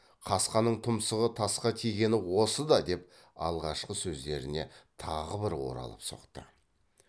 қасқаның тұмсығы тасқа тигені осы да деп алғашқы сөздеріне тағы бір оралып соқты